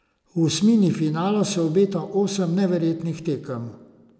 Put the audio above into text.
V osmini finala se obeta osem neverjetnih tekem.